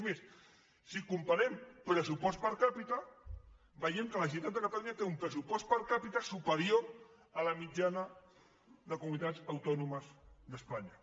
és més si comparem pressupost per capita veiem que la generalitat de ca·talunya té un pressupost per capitajana de comunitats autònomes d’espanya